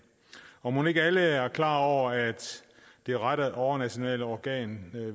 mon ikke alle er klar over at det rette overnationale organ